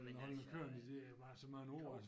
Holde den kørende det er jo bare så mange år altså